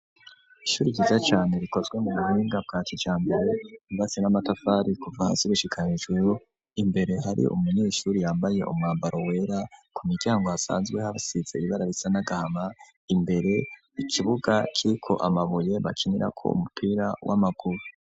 ishuri riza cyane rikozwe mu buhinga bwaco cya mbere bibasi n'amatafari kuva hasi bushikanijuru imbere hari umunyeshuri yambaye umwambaro wera ku miryango asanzwe hasitse ibara risanagahama imbere ikibuga vyiryo amabuye bakenera ko umupira w'amakuru.